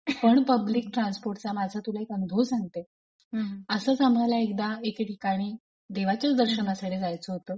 पण पब्लिक ट्रान्सपोर्टचा माझा तुला एक अनुभव सांगते. हम्म असंच आम्हाला एकदा एके ठिकाणी देवाच्याच दर्शनासाठी जायचं होतं;